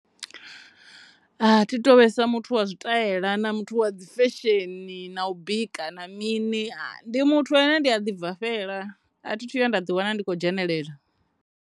A thi thu to vhesa muthu wa tshitaela, muthu wa dzi fesheni na u bika na mini ndi muthu ane ndi a ḓi bvafhela a thi tu vhuya nda ḓi wana ndi tshi tshi kho dzhenelela.